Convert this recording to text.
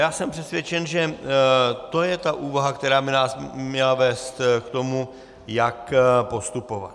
A jsem přesvědčen, že to je ta úvaha, která by nás měla vést k tomu, jak postupovat.